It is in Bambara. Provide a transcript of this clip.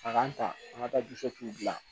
A k'an ta an ka taa dilan